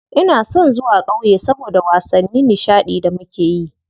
Ina son zuwa ƙauye saboda wasanni nishaɗi da muke yi.